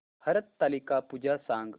हरतालिका पूजा सांग